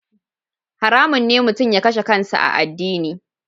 Haramun ne mutum ya kashe kansa a addini.